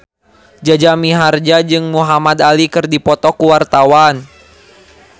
Jaja Mihardja jeung Muhamad Ali keur dipoto ku wartawan